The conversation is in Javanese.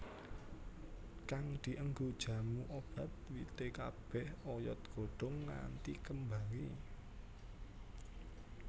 Kang dienggo jamu obat wite kabeh oyod godhong nganti kembange